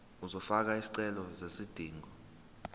uzofaka isicelo sezidingo